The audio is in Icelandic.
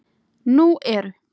Nú eru